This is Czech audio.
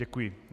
Děkuji.